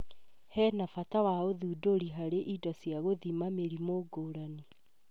Hena bata wa ũthundũri harĩ indo cia gũthima mĩrimũ ngũrani